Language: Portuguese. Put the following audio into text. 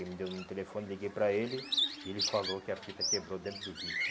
Ele me deu um telefone, liguei para ele e ele falou que a fita quebrou dentro do vídeo.